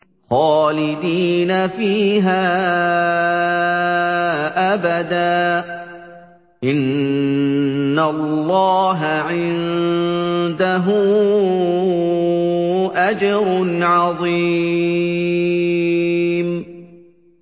خَالِدِينَ فِيهَا أَبَدًا ۚ إِنَّ اللَّهَ عِندَهُ أَجْرٌ عَظِيمٌ